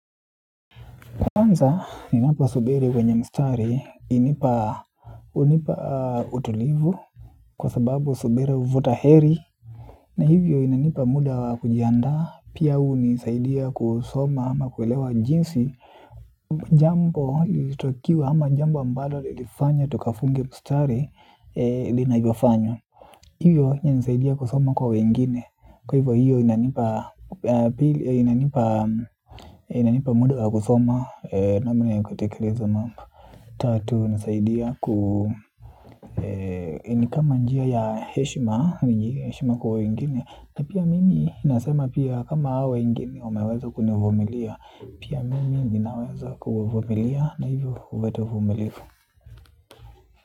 Kwanza ni napo subiri wenye mstari hunipa utulivu kwa sababu subira huvuta heri. Na hivyo inanipa muda wa kujianda pia hunisaidia kusoma ama kuelewa jinsi jambo ilitakiwa ama jambo ambalo lilifanya tukafunge mstari linavyofanywa. Hiyo inisaidia kusoma kwa wengine, kwa hivyo hiyo inanipa muda wa kusoma namna ya kutekeleza mambo. Tatu ina saidia ku, ni kama njia ya heshima kwa wengine, na pia mimi nasema pia kama hawa wengine wameweza kunivumilia, pia mimi ninaweza kuwavumilia na hivyo huleta uvumilivu.